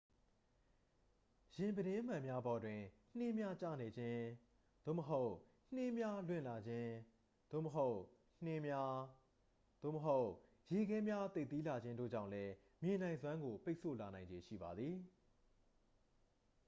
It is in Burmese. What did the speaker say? ယာဉ်ပြတင်းမှန်များပေါ်တွင် နှင်းများကျနေခြင်း သို့မဟုတ် နှင်းများလွင့်လာခြင်း သို့မဟုတ် နှင်းများ သို့မဟုတ် ရေခဲများသိပ်သည်းလာခြင်းတို့ကြောင့်လည်း မြင်နိုင်စွမ်းကို ပိတ်ဆို့လာနိုင်ခြေရှိပါသည်